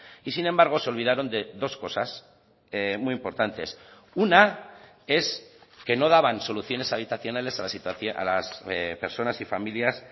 y sin embargo se olvidaron de dos cosas muy importantes una es que no daban soluciones habitacionales a las personas y familias